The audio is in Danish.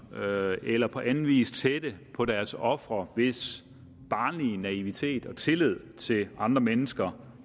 med eller på anden vis tæt på deres ofre hvis barnlige naivitet og tillid til andre mennesker